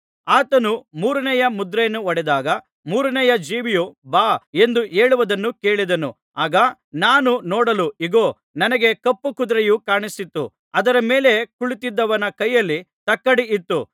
ಆತನು ಮೂರನೆಯ ಮುದ್ರೆಯನ್ನು ಒಡೆದಾಗ ಮೂರನೆಯ ಜೀವಿಯು ಬಾ ಎಂದು ಹೇಳುವುದನ್ನು ಕೇಳಿದೆನು ಆಗ ನಾನು ನೋಡಲು ಇಗೋ ನನಗೆ ಕಪ್ಪು ಕುದುರೆಯು ಕಾಣಿಸಿತು ಅದರ ಮೇಲೆ ಕುಳಿತಿದ್ದವನ ಕೈಯಲ್ಲಿ ತಕ್ಕಡಿ ಇತ್ತು